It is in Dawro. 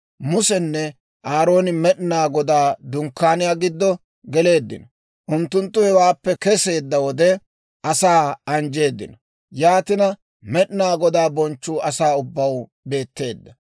Musenne Aarooni Med'inaa Godaa Dunkkaaniyaa giddo geleeddino; unttunttu hewaappe keseedda wode, asaa anjjeeddino. Yaatina Med'inaa Godaa bonchchuu asaa ubbaw beetteedda.